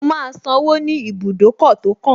Mo máa sanwó ní ibùdókọ̀ tó kàn